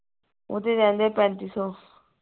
ਓਹਦੇ ਰਹਿੰਦੇ ਹੈ ਪੈਂਤੀ ਸੋ